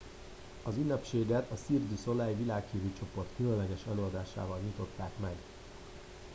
az ünnepséget a cirque du soleil világhírű csoport különleges előadásával nyitották meg